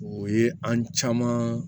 O ye an caman